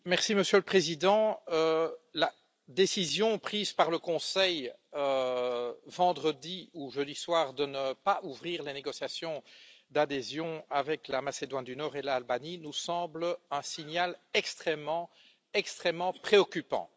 Monsieur le Président, la décision prise par le Conseil, vendredi ou jeudi soir, de ne pas ouvrir les négociations d'adhésion avec la Macédoine du Nord et l'Albanie nous semble un signal extrêmement préoccupant.